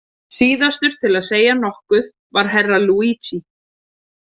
Síðastur til að segja nokkuð var Herra Luigi.